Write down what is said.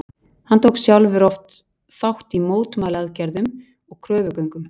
Hann tók sjálfur oft þátt í mótmælaaðgerðum og kröfugöngum.